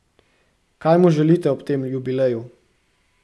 Kaj mu želite ob tem jubileju?